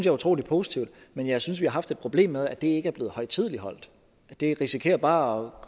er utrolig positivt men jeg synes at vi har haft et problem med at det ikke er blevet højtideligholdt det risikerer bare at